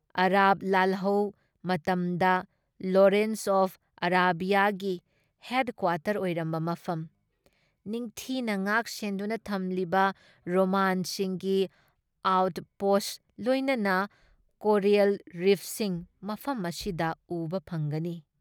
Arab ꯂꯥꯜꯍꯧ ꯃꯇꯝꯗ Lawrence of ꯑꯥꯔꯕꯤꯌꯥꯒꯤ ꯍꯦꯗ ꯀ꯭ꯋꯥꯇꯔ ꯑꯣꯏꯔꯝꯕ ꯃꯐꯝ, ꯅꯤꯡꯊꯤꯅ ꯉꯥꯛ ꯁꯦꯟꯗꯨꯅ ꯊꯝꯂꯤꯕ ꯔꯣꯃꯥꯟꯁꯤꯡꯒꯤ ꯑꯥꯎꯠ ꯄꯣꯁꯠ ꯂꯣꯏꯅꯅ ꯀꯣꯔꯦꯜ ꯔꯤꯐꯁꯤꯡ ꯃꯐꯝ ꯑꯁꯤꯗ ꯎꯕ ꯐꯪꯒꯅꯤ ꯫